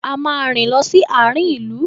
A máa rìn lọ sí àarin ìlú.